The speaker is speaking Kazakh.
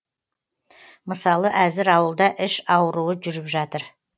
мысалы әзір ауылда іш ауруы жүріп жатыр